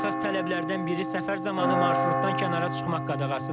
Əsas tələblərdən biri səfər zamanı marşrutdan kənara çıxmaq qadağasıdır.